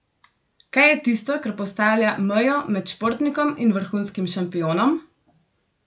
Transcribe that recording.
Kaj je tisto, kar postavlja mejo med športnikom in vrhunskim šampionom?